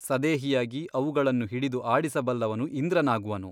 ಸದೇಹಿಯಾಗಿ ಅವುಗಳನ್ನು ಹಿಡಿದು ಆಡಿಸಬಲ್ಲವನು ಇಂದ್ರನಾಗುವನು.